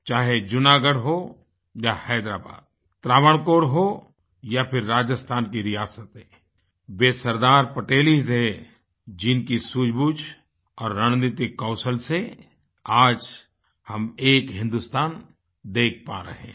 चाहे जूनागढ़ हो या हैदराबाद त्रावणकोर हो या फिर राजस्थान की रियासतें वे सरदार पटेल ही थे जिनकी सूझबूझ और रणनीतिक कौशल से आज हम एक हिन्दुस्तान देख पा रहे हैं